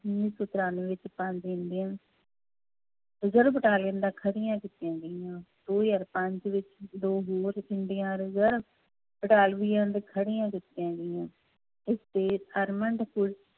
ਉੱਨੀ ਸੌ ਤਰਾਨਵੇਂ ਵਿੱਚ ਕੀਤੀਆਂ ਗਈਆਂ ਦੋ ਹਜ਼ਾਰ ਪੰਜ ਵਿੱਚ ਦੋ ਹੋਰ ਖੜੀਆਂ ਕੀਤੀਆਂ ਗਈਆਂ, ਇਸ ਤੇ armed ਪੁਲਿਸ